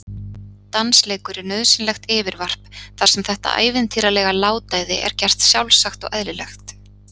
Dansleikur er nauðsynlegt yfirvarp þar sem þetta ævintýralega látæði er gert sjálfsagt og eðlilegt.